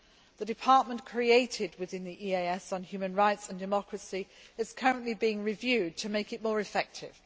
The department created within the EEAS on human rights and democracy is currently being reviewed to make it more effective.